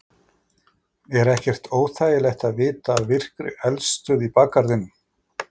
Er ekkert óþægilegt að vita af virkri eldstöð í bakgarðinum?